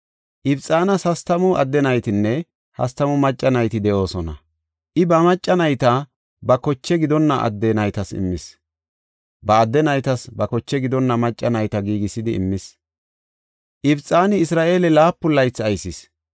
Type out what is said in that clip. Ibxanas hastamu adde naytinne hastamu macca nayti de7oosona. I ba macca nayta ba koche gidonna adde naytas immis; ba adde naytas ba koche gidonna macca nayta giigisidi immis. Ibxani Isra7eele laapun laythi aysis.